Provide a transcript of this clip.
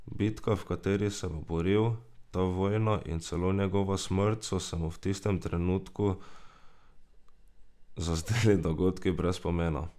Bitka, v kateri se bo boril, ta vojna in celo njegova smrt so se mu v tistem trenutku zazdeli dogodki brez pomena.